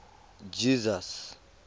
jesus